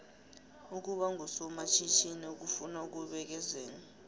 ukuba ngusomatjhithini kufuna ukubekezela